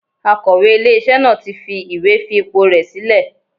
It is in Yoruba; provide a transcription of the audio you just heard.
Akọ̀wé ilé iṣẹ́ náà tí fi ìwé fi ipò rè sílẹ̀.